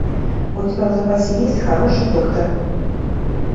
у тебя в запасе есть хороший доктор